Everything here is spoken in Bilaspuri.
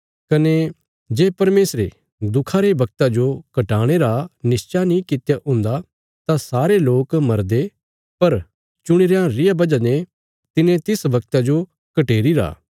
कने जे परमेशरे दुखा रे वगता जो घटाणे रा निश्चा नीं कित्या हुन्दा तां सारे लोक मरदे पर चुणी रयां रिया बजह ने तिने तिस वगता जो घटेरी रा